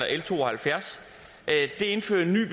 l to og halvfjerds indfører en ny